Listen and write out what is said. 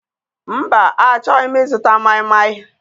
Mba, achọghị m ịzụta maịmaị.